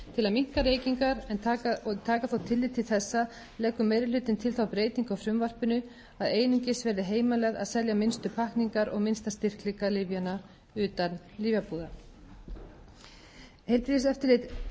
minnka reykingar og taka þó tillit til þessa leggur meiri hlutinn til þá breytingu á frumvarpinu að einungis verði heimilað að selja minnstu pakkningar og minnsta styrkleika lyfjanna utan lyfjabúða heilbrigðiseftirlit sveitarfélaga hefur eftirlit með starfsemi almennra verslana